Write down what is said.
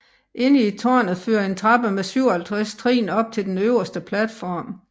Inde i tårnet fører en trappe med 57 trin op til den øverste platform